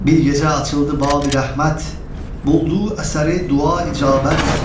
Bir gecə açıldı babı rəhmət, buldu əsəri dua icabət.